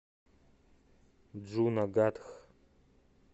джунагадх